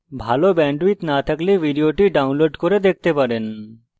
ভাল bandwidth না থাকলে আপনি ভিডিওটি download করে দেখতে পারেন